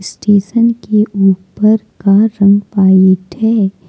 Station के ऊपर का रंग व्हाइट है।